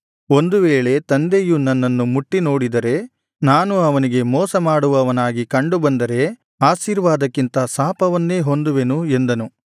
ಒಂದು ವೇಳೆ ತಂದೆಯು ನನ್ನನ್ನು ಮುಟ್ಟಿ ನೋಡಿದರೆ ನಾನು ಅವನಿಗೆ ಮೋಸ ಮಾಡುವವನಾಗಿ ಕಂಡು ಬಂದರೆ ಆಶೀರ್ವಾದಕ್ಕಿಂತ ಶಾಪವನ್ನೇ ಹೊಂದುವೆನು ಎಂದನು